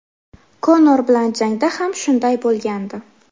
Konor bilan jangda ham shunday bo‘lgandi.